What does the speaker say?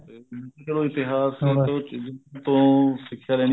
ਹਮ ਚਲੋ ਇਤਿਹਾਸ ਇਸ ਚੀਜ਼ ਤੋਂ ਸਿੱਖਿਆ ਲੈਣੀ